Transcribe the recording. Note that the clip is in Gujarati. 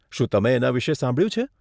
શું તમે એના વિષે સાંભળ્યું છે?